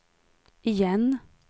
igen